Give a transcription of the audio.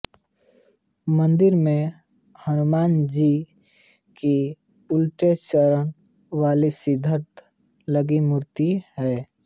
मंदिर में हनुमानजी की उलटे चेहरे वाली सिंदूर लगी मूर्ति है